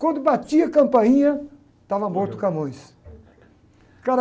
Quando batia a campainha, estava morto o Camões. O cara